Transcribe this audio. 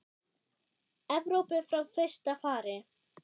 Evrópu frá fyrsta fari.